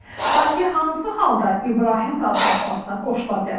Bakı hansı halda İbrahim razılaşmasına qoşula bilər?